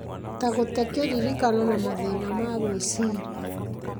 ta gũte kĩririkano na mathĩna ma gwĩciria